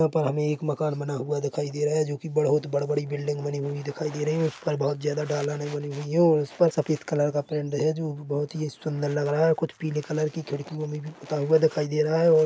पर हमें एक मकान बना हुआ दिखाई दे रहा है जो की बहोत बड़ बड़ी बिल्डिंग बानी हुई दिखाई दे रही है उस पर बहोत ज्यादा डालनी बानी हुई है और उस पर सफेद कलर का पेंट है जो भी बहुत ही सुंदर लग रहा है कुछ पीले कलर की खिड़कियों में भी पुता हुआ दिखाई दे रहा है। और --